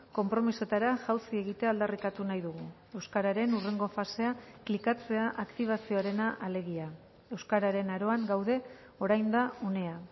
konpromisoetara jausi egitea aldarrikatu nahi dugu euskararen hurrengo fasea klikatzea aktibazioarena alegia euskararen aroan gaude orain da unea